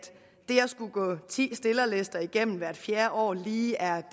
skulle gå ti stillerlister igennem hvert fjerde år lige er